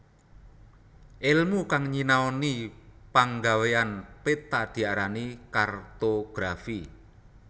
Èlmu kang nyinanoni panggawéyan peta diarani kartografi